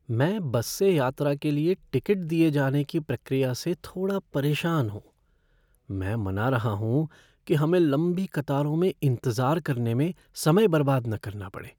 मैं बस से यात्रा के लिए टिकट दिए जाने की प्रक्रिया से थोड़ा परेशान हूँ, मैं मना रहा हूँ कि हमें लंबी कतारों में इंतजार करने में समय बर्बाद न करना पड़े।